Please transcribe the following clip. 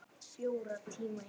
Þetta sé það besta fyrir hana.